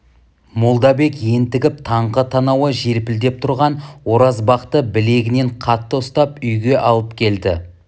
молдабек ентігіп таңқы танауы желпілдеп тұрған оразбақты білегінен қатты ұстап үйге алып келді